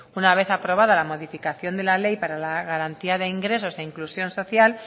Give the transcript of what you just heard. una vez aprobada la modificación de la ley para la garantía de ingresos e inclusión social